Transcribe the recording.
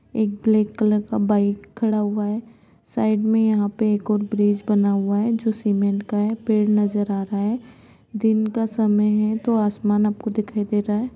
एक black colour का bike खड़ा हुआ है साइड में यहां पे एक और ब्रिज बना हुआ है जो सीमेंट का है पेड़ नजर आ रहा है दिन का समय है तो आसमान आपको दिखाई दे रहा है।